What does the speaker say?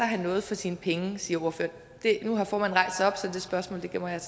have noget for sine penge siger ordføreren nu har formanden rejst sig op så det spørgsmål gemmer jeg